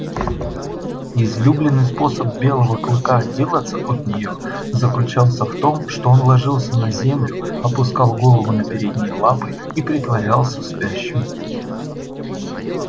излюбленный способ белого клыка отделаться от неё заключался в том что он ложился на землю опускал голову на передние лапы и притворялся спящим